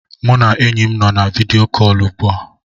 Mụ na enyi m nọ na oku vidiyo ugbu a